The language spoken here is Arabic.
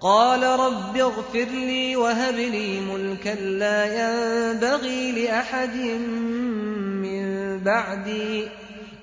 قَالَ رَبِّ اغْفِرْ لِي وَهَبْ لِي مُلْكًا لَّا يَنبَغِي لِأَحَدٍ مِّن بَعْدِي ۖ